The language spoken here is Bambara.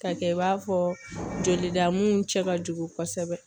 K'a kɛ i b'a fɔ jolida mun cɛ ka jugu kosɛbɛ